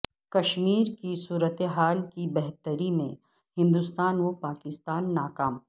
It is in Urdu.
کشمیر کی صورتحال کی بہتری میں ہندوستان و پاکستان ناکام